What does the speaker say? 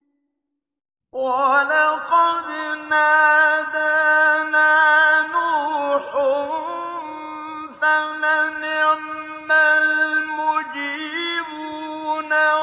وَلَقَدْ نَادَانَا نُوحٌ فَلَنِعْمَ الْمُجِيبُونَ